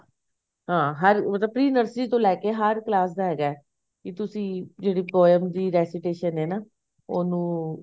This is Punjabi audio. ਹਾਂ ਹਰ ਮਤਲਬ pre nursery ਤੋਂ ਲੈ ਕੇ ਹਰ class ਦਾ ਹੈਗਾ ਕੀ ਤੁਸੀਂ ਜਿਹੜੀ poem ਦੀ recitation ਐ ਨਾ ਉਹਨੂੰ